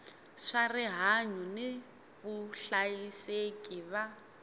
swa rihanyu ni vuhlayiseki va